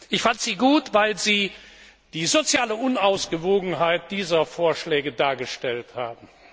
Ich fand sie gut, weil Sie die soziale Unausgewogenheit dieser Vorschläge dargestellt haben.